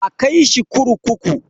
A kai shi kurkuku.